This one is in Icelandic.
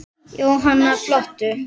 Jóhanna: Flottur?